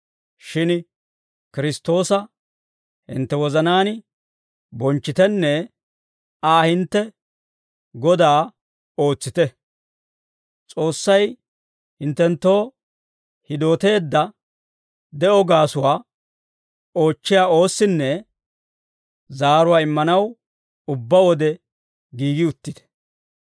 Shin Kiristtoosa hintte wozanaan bonchchitenne Aa hintte Godaa ootsite. S'oossay hinttenttoo hidooteedda de'oo gaasuwaa oochchiyaa oossinne zaaruwaa immanaw ubbaa wode giigi uttite;